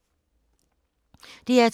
DR2